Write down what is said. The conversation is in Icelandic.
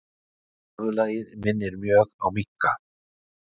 Höfuðlagið minnir mjög á minka.